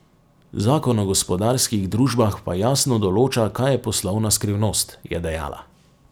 Zakon o gospodarskih družbah pa jasno določa, kaj je poslovna skrivnost, je dejala.